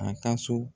A ka so